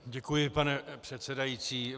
Děkuji, pane předsedající.